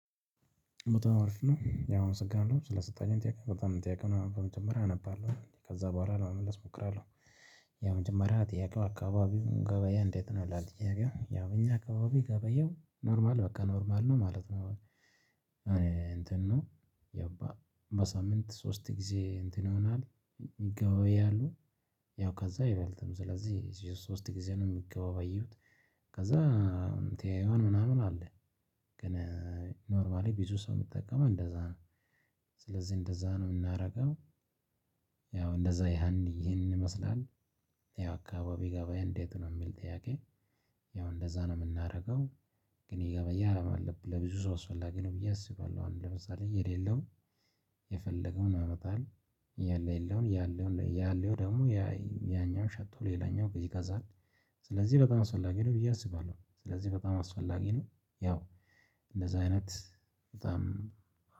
በጣም አሪፍ ነው ያው አመሰግናለሁ ስለተሰጠኝም ጥያቄ ጥያቄውን በመጀመሪያ አነባለሁ ከዛ በኋላ ለመመለስ እሞክራለሁ። ያ መጀመሪያ ጥያቄው አካባቢው ገበያ እንዴት ነው ይላል? ጥያቄው ያው እኛ አካባቢ ገበያው ኖርማል በቃ ኖርማል ነው ማለት ነው። እኔ እንትን ነው። የባ በሳምንት ሶስት ጊዜ እንትን ይሆናል። ይገባያሉ። ያው ከዛ አይበልጥም ስለዚህ ሶስት ጊዜ ነው የሚገባያዩት። ከዛ ተያይዋን ምናምን አለ። ግን ኖርማሊ ቢዙ ሰው የሚጠቀመው እንደዛ ነው ስለዚህ እንደዛ ነው የምናደርገው። ያው እንደዛ ያንን ይሄንን ይመስላል። ያ አካባቢ ገበያ እንዴት ነው የሚል ጥያቄ? ያው እንደዛ ነው የምናደርገው። ግን የገበያ አላማ አለብኝ ለብዙ ሰው አስፈላጊ ነው ብዬ አስባለሁ። አሁን ለምሳሌ የሌለውን የፈለገውን ያመጣል። ያለው ያለው ያለው ደግሞ ያኛውን ሸጦ ሌላኛውን ይገዛል። ስለዚህ በጣም አስፈላጊ ነው ብዬ አስባለሁ። ስለዚህ በጣም አስፈላጊ ነው። ያው እንደዛ አይነት በጣም